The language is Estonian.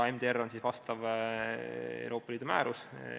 MDR on Euroopa Liidu määrus.